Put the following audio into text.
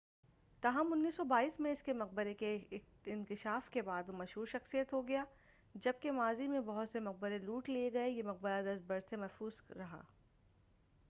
تاہم 1922 میں اس کے مقبرہ کے اکتشاف کے بعد وہ مشہور شخصیت ہو گیا جب کہ ماضی میں بہت سے مقبرے لوٹ لئے گئے یہ مقبرہ دست برد سے محفوظ رہا